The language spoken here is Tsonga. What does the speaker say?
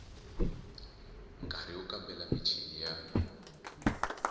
nkari wo kambela michini ya